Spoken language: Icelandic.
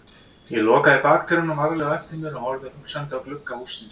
Ég lokaði bakdyrunum varlega á eftir mér og horfði hugsandi á glugga hússins.